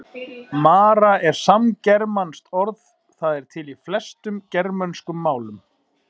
Mara er samgermanskt orð, það er til í flestum germönskum málum.